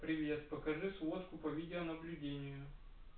привет покажи сводку по видеонаблюдению